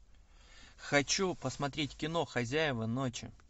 хочу посмотреть кино хозяева ночи